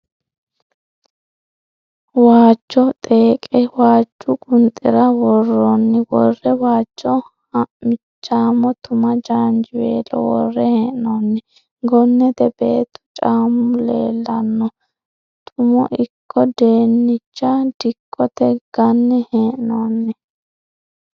Waajjo xeeqe waajju qunxira worroonni worre waajjo ha'michaamo tuma jaanjiweelo worre hee'noonni. Gonnete beettu caammu leellanno. Tumqno ikko dennicha dikkote ganne hee'noonni.